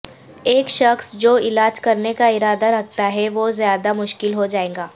ایک شخص جو علاج کرنے کا ارادہ رکھتا ہے وہ زیادہ مشکل ہو جائے گا